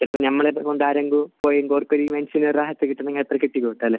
ചിലപ്പോൾ നമ്മളെ